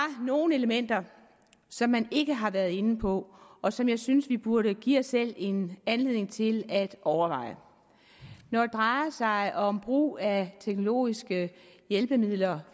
nogle elementer som man ikke har været inde på og som jeg synes vi burde give os selv en anledning til at overveje når det drejer sig om brug af teknologiske hjælpemidler